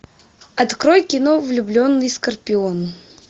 открой кино влюбленный скорпион